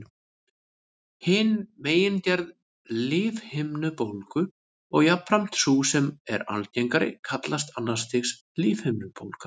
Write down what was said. Hin megingerð lífhimnubólgu, og jafnframt sú sem er algengari, kallast annars stigs lífhimnubólga.